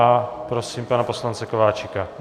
A prosím pana poslance Kováčika.